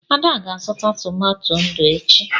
Ada ga-azụta tomato ndụ echi.